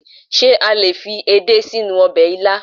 Ṣé a lè fi edé sínú ọbẹ̀ ilá?